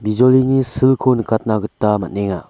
bijolini silko nikatna gita man·enga.